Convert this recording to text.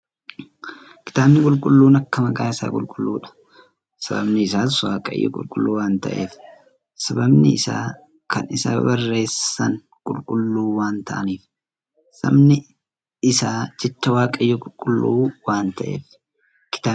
Kitaabni qulqulluun akka maqaa isaa qulqulluudha. Sababni isaas waaqayyoo qulqulluu waan ta'eef, sababni isaa kan isa barreessan qulqulluu waan ta'aniif, sabni isaa jechi waaqayyoo qulqulluu waan ta'eef. Kitaabni qulqulluun waa'ee waaqayyoo nutti hima.